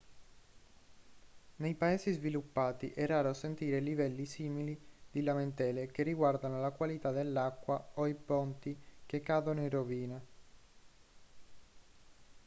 nei paesi sviluppati è raro sentire livelli simili di lamentele che riguardano la qualità dell'acqua o i ponti che cadono in rovina